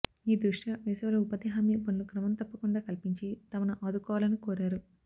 ఈ దృష్యా వేసవిలో ఉపాధి హామీ పనులు క్రమం తప్పకుండా కల్పించి తమను ఆదుకోవాలని కోరారు